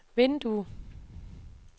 vindue